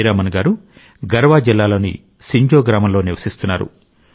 హీరామన్ గారు గర్వా జిల్లాలోని సింజో గ్రామంలో నివసిస్తున్నారు